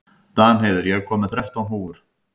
Danheiður, ég kom með þrettán húfur!